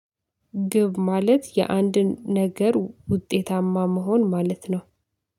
ግብ ማለት የአንድን ነገር ውጤታማ መሆን ማለት ነው